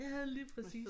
Ja lige præcis